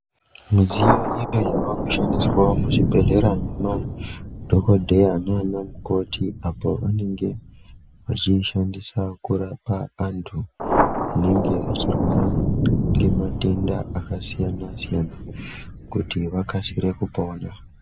Midziyo imwe yava kushandiswao muzvibhedhlera nemadhokodheya nana mukoti apo vanenge vachiishandisa kurapa anthu anenge achirwara ngematenda akasiyana siyana kuti vakasire kupona.